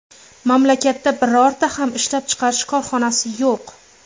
Mamlakatda birorta ham ishlab chiqarish korxonasi yo‘q.